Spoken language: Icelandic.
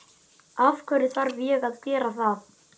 Af hverju þarf ég að gera það?